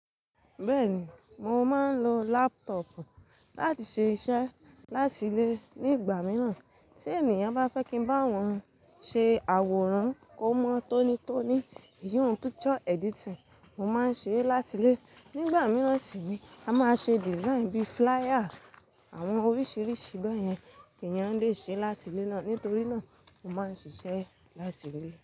Bẹ́ẹ̀ni, mo máa ń lo laptop láti ṣé iṣẹ́ láti ilé nígbà mìíràn. Tí ènìyàn bá fẹ́ kí n bá wọn ṣe àwòrán kó mọ́ tónítóní, iyún picture editing, mo máa ń ṣé láti ilé. Nígbà mìíràn sì ni, a máa ṣe design bí flier, àwọn oríṣìíríṣìí bẹ́ẹ̀ yẹn èèyàn lè ṣe láti ilé ná. Nítorí náà mo máa ń ṣiṣẹ́ láti ilé.